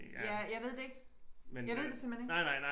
Ja jeg ved det ikke jeg ved det simpelthen ikke